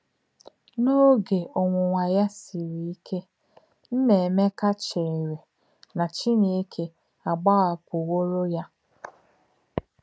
N’ògè ọ̀nwùnwà yà sìrì íké, Nnaeméka chèèrè nà Chínèkè àgbàhàpùwòrò yà.